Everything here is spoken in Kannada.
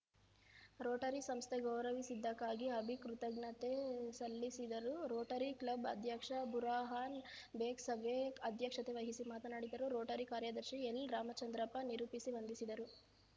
ರೋಟರಿ ಸಂಸ್ಥೆ ಗೌರವಿಸಿದ್ದಕ್ಕಾಗಿ ಅಭಿ ಕೃತಜ್ಞೆತೆ ಸಲ್ಲಿಸಿದರು ರೋಟರಿ ಕ್ಲಬ್‌ ಅಧ್ಯಕ್ಷ ಬುರಾಹಾನ್‌ ಬೇಗ್‌ ಸಭೆ ಅಧ್ಯಕ್ಷತೆ ವಹಿಸಿ ಮಾತನಾಡಿದರು ರೋಟರಿ ಕಾರ್ಯದರ್ಶಿ ಎಲ್‌ ರಾಮಚಂದ್ರಪ್ಪ ನಿರೂಪಿಸಿ ವಂದಿಸಿದರು